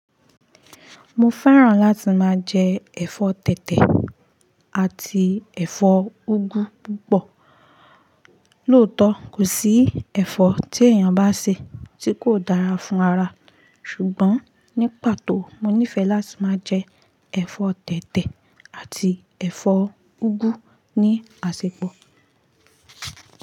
Mo fẹ́ràn láti máa jẹ ẹ̀fọ́ tẹ̀tẹ̀ àti ẹ̀fọ́ úgú púpọ̀. Lóòtọ́, kò sí ẹ̀fọ́ tí èèyàn bá sè tí kò dára fún ara, ṣùgbọ́n ní pàtó mo nífẹ̀ẹ́ láti máa jẹ ẹ̀fọ́ tẹ̀tẹ̀ àti ẹ̀fọ́ úgú ní àsèpọ̀